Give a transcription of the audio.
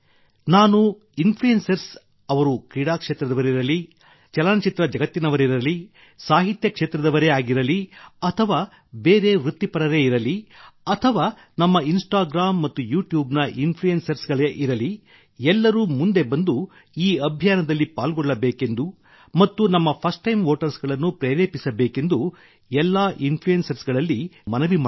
influencers ಅವರು ಕ್ರೀಡಾ ಕ್ಷೇತ್ರದವರಿರಲಿ ಚಲನಚಿತ್ರ ಜಗತ್ತಿನವರಿರಲಿ ಸಾಹಿತ್ಯ ಕ್ಷೇತ್ರದವರಿರಲಿ ಅಥವಾ ಬೇರೆ ವೃತ್ತಿಪರರಿರಲಿ ಅಥವಾ ನಮ್ಮ ಇನ್ಸ್ಟಾಗ್ರಾಮ್ ಮತ್ತು ಯೂಟ್ಯೂಬ್ ನ ಇನ್ಫ್ಲುಯೆನ್ಸರ್ ಗಳಿರಲಿ ಎಲ್ಲರೂ ಮುಂದೆ ಬಂದು ಈ ಅಭಿಯಾನದಲ್ಲಿ ಪಾಲ್ಗೊಳ್ಳಬೇಕೆಂದೂ ಮತ್ತು ನಮ್ಮ ಫರ್ಸ್ಟ್ ಟೈಮ್ ವೋಟರ್ಸ್ ಗಳನ್ನು ಪ್ರೇರೇಪಿಸಬೇಕೆಂದು ಎಲ್ಲಾ ಇನ್ಫ್ಲುಯೆನ್ಸರ್ಸ್ ಗಳಲ್ಲಿ ನಾನು ಮನವಿ ಮಾಡುತ್ತೇನೆ